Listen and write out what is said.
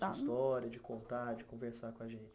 Está história, de contar, de conversar com a gente.